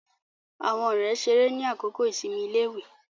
Àwọn ọ̀rẹ́ ṣeré ni àkókò ìsinmi iléèwé